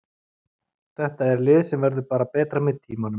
Þetta er lið sem verður bara betra með tímanum.